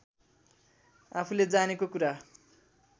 आफूले जानेको कुरा